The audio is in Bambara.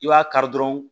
I b'a kari dɔrɔn